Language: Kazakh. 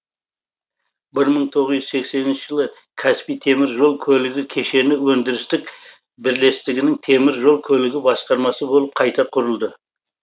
бір мың тоғыз жүз сексенінші жылы каспий темір жол көлігі кешені өндірістік бірлестігінің темір жол көлігі басқармасы болып қайта құрылды